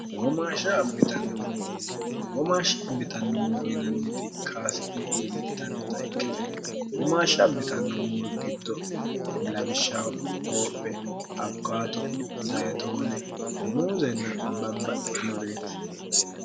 womaashsha abbitannommuro yinanniti kaasi'ne iillittannota ikkite womaashsha abbitannommuru giddo labishshaho hoophe abikaato zayitoone muuzenna babbaxxinoreeti